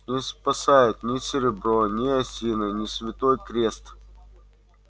не спасает ни серебро ни осина ни святой крест